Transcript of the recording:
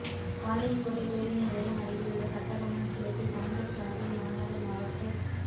பாளையங்கோட்டை பேருந்து நிலையம் அருகிலுள்ள கட்டபொம்மன் சிலைக்கு காங்கிரஸ் சாா்பில் மாநகா் மாவட்டத்